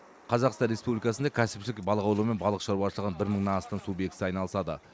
қазақстан республикасында кәсіпшілік балық аулау мен балық шаруашылығының бір мыңнан астам субъектісі айналысады